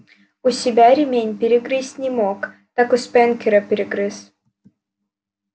у себя ремень перегрызть не мог так у спэнкера перегрыз